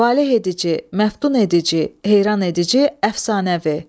Valeh edici, məftun edici, heyran edici, əfsanəvi.